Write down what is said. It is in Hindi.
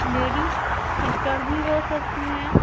लेडीज सिस्टर भी हो सकती हैं।